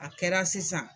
A kɛra sisan